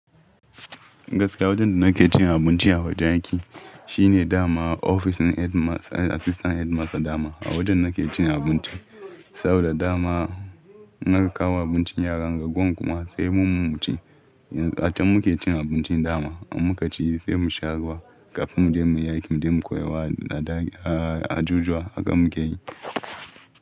Gaskiya wajen da nake cin abinci a wajen aiki shine dama ofis ɗin Headmaster, Assistant Headmaster daman a wajen nake cin abinci. Saboda dama naga ankawo abincin yaran, raguwan kuma sai mu mu ci. Yanzu har muke cin abincin dama muka ci sai mu sha ruwa kafin mu je muyi aiki, muyi koyarwa a ɗaki, a jujuwa haka muke yi.